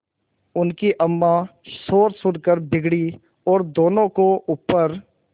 उनकी अम्मां शोर सुनकर बिगड़ी और दोनों को ऊपर